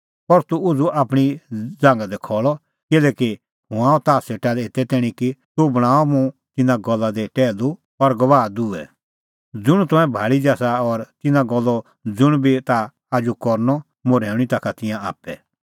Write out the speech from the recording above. पर तूह उझ़ू आपणीं ज़ांघा दी खल़अ किल्हैकि हुंह आअ ताह सेटा लै एते तैणीं कि तूह बणांणअ मुंह तिन्नां गल्ला दी टैहलू और गवाह दुहै ज़ुंण तंऐं भाल़ी दी आसा और तिन्नां गल्लो बी ज़ुंण ताह आजू करनअ मुंह रहैऊंणीं तिंयां ताखा आप्पै